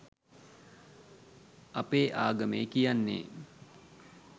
අපේ ආගමේ කියන්නේ